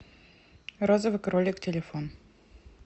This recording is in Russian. розовый кролик телефон